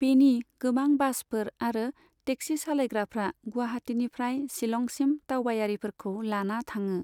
बेनि गोबां बासफोर आरो टेक्सि सालायग्राफ्रा गुवाहाटिनिफ्राय शिलंगसिम दावबायारिफोरखौ लाना थाङो।